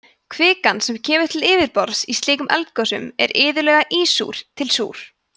kvikan sem kemur til yfirborðs í slíkum eldgosum er iðulega ísúr til súr